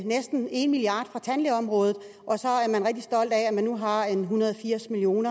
næsten en milliard kroner fra tandlægeområdet og man nu har en hundrede og firs million